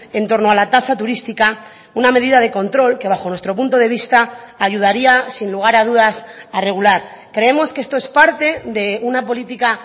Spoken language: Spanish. en torno a la tasa turística una medida de control que bajo nuestro punto de vista ayudaría sin lugar a dudas a regular creemos que esto es parte de una política